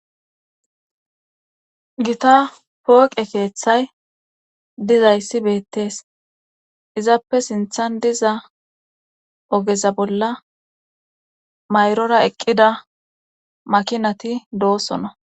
Gita pooqe keeththay dizayssi beettees izappe sinthan diza ogeza bolla mayrora eqqida makinati doosona.